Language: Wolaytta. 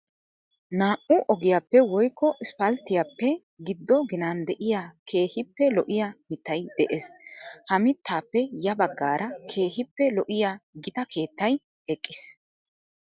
Naa"u ogiyappe woykko isippalttiyappe giddo ginan de'iya keehippe lo'iya mittay de'ees. Ha mittaappe ya baggaara keehippe lo'iya gita keettay eqqiis.